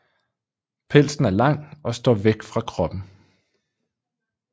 Pelsen er lang og står væk fra kroppen